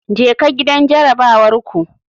Jeka gidan jarabawar ku.